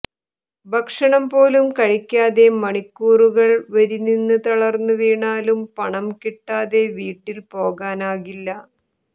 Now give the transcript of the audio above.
ഭക്ഷണം പോലും കഴിക്കാതെ മണിക്കൂറുകൾ വരിനിന്ന് തളർന്നു വീണാലും പണം കിട്ടാതെ വീട്ടിൽ പോകാനാകില്ല